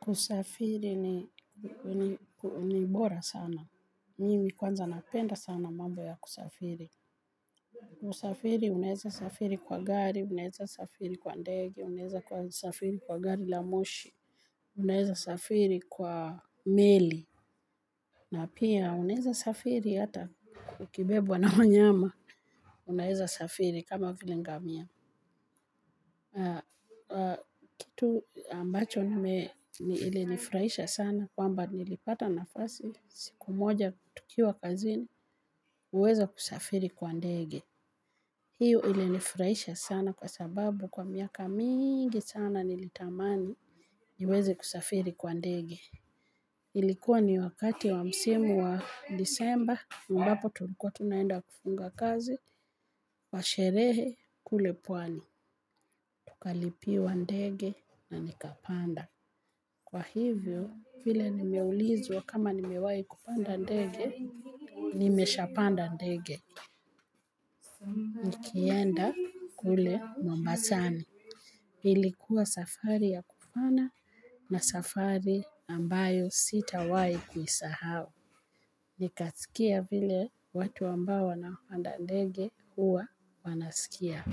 Kusafiri ni bora sana. Mimi kwanza napenda sana mambo ya kusafiri. Kusafiri, unaweza safiri kwa gari, unaweza safiri kwa ndege, unaweza safiri kwa gari la moshi. Unaweza safiri kwa meli. Na pia unaweza safiri hata ukibebwa na manyama. Unaweza safiri, kama vile ngamia. Tu ambacho, ilinifurahisha sana. Kwamba nilipata nafasi siku moja tukiwa kazini, kusafiri kwa ndege. Hiyo ilinifurahisha sana kwa sababu kwa miaka mingi sana nilitamani niweze kusafiri kwa ndege. Ilikuwa ni wakati wa msimu wa Disemba ambapo tulikuwa tunaenda kufunga kazi kwa sherehe kule pwani. Tukalipiwa ndege na nikapanda. Kwa hivyo, vile nimeulizwa kama nimewahi kupanda ndege, nimeshapanda ndege. Nikienda kule Mombasani. Ilikuwa safari ya kufana na safari ambayo sitawahi kuisahau. Nikasikia vile watu ambao wanapanda ndege huwa wanasikia.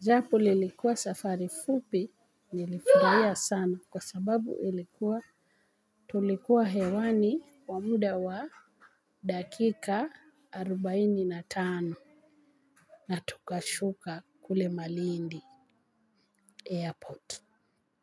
Japo lilikuwa safari fupi, nilifurahia sana kwa sababu ilikuwa tulikuwa hewani kwa muda wa dakika arobaini na tano, na tukashuka kule Malindi Airport.